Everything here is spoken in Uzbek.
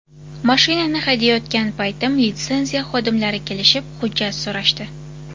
Mashinani haydayotgan paytim litsenziya xodimlari kelishib, hujjat so‘rashdi.